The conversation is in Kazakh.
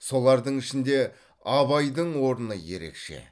солардың ішінде абайдың орны ерекше